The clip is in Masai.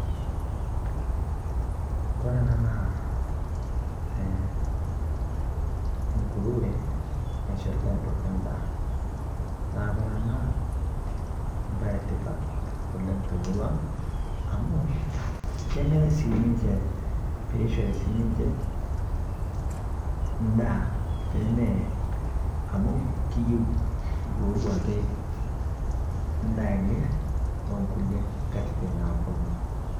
Kore ena naa enguruwe naishoritai duake ndaa. Naa kore ena naa bayi entipaat te murua ang amu keneree sii ninchee pee eishori sii ninchee ndaa, pee mee amu kiyeu yoo duake ndaa enye te nkulee nkatitin naaponu.